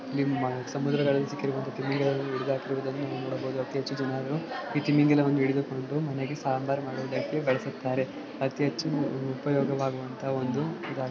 ಸಮುದ್ರದಲ್ಲಿ ಸಿಕ್ಕಿರುವಂತ ತಿಮಿಂಗಲವನ್ನು ಹಿಡಿದ್ ಹಾಕಿರುವುದನ್ನು ನಾವ್ ನೋಡಬೋದು ಅತಿ ಹೆಚ್ಚು ಜನರು ಈ ತಿಮಿಂಗಲವನ್ನು ಹಿಡಿದುಕೊಂಡು ಮನೆಗೆ ಸಾಂಬರ್ ಮಾಡುವುದಕ್ಕೆ ಬಳಸುತ್ತಾರೆ ಅತಿ ಹೆಚ್ಚು ಉಪಯೋಗವಾಗುವಂಥಹ ಒಂದು --